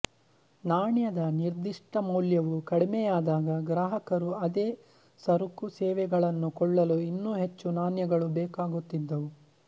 ನಾಣ್ಯದ ನಿರ್ದಿಷ್ಟ ಮೌಲ್ಯವು ಕಡಿಮೆಯಾದಾಗ ಗ್ರಾಹಕರು ಅದೇ ಸರಕುಸೇವೆಗಳನ್ನು ಕೊಳ್ಳಲು ಇನ್ನೂ ಹೆಚ್ಚು ನಾಣ್ಯಗಳು ಬೇಕಾಗುತ್ತಿದ್ದವು